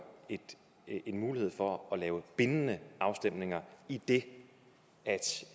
en mulighed for at lave bindende afstemninger idet